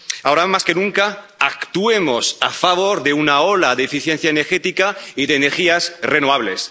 2. Ahora más que nunca actuemos en favor de una ola de eficiencia energética y de energías renovables.